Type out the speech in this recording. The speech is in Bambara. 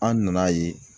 An nana ye